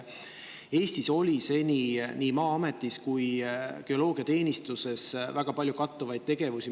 Eestis oli seni Maa-ametis ja geoloogiateenistuses väga palju kattuvaid tegevusi.